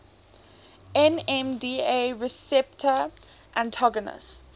nmda receptor antagonists